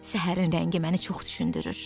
Səhərin rəngi məni çox düşündürür.